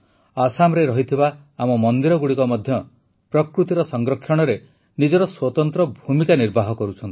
ଆସାମରେ ରହିଥିବା ଆମ ମନ୍ଦିରଗୁଡ଼ିକ ମଧ୍ୟ ପ୍ରକୃତିର ସଂରକ୍ଷଣରେ ନିଜର ସ୍ୱତନ୍ତ୍ର ଭୂମିକା ନିର୍ବାହ କରୁଛନ୍ତି